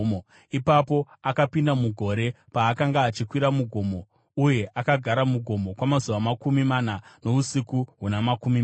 Ipapo akapinda mugore paakanga achikwira mugomo. Uye akagara mugomo kwamazuva makumi mana nousiku huna makumi mana.